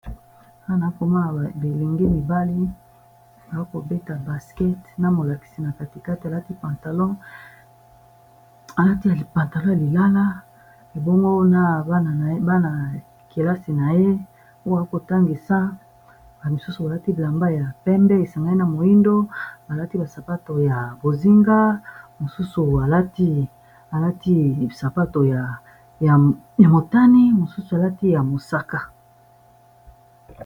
awa naokomana bilingi mibali aakobeta basket na molakisi na katikate alati ypantalon ya lilala ebongo na bana y kelasi na ye oya akotangisa a misusu balati blamba ya pembe esangai na moindo balati basapato ya bozinga msusalati sapato ya motani mosusu alati ya mosaka